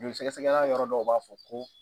Joli sɛgɛsɛgɛla yɔrɔ dɔw b'a fɔ ko